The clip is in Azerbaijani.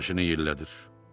Başını yellədir.